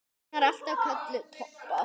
Hún var alltaf kölluð Tobba.